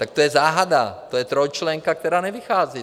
Tak to je záhada, to je trojčlenka, která nevychází.